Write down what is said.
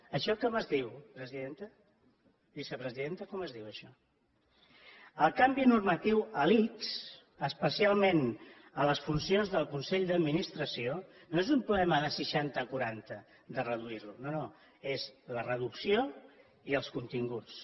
això com es diu presidenta vicepresidenta com es diu això el canvi normatiu a l’ics especialment a les funcions del consell d’administració no és un problema de seixanta a quaranta de reduir lo no no és la reducció i els continguts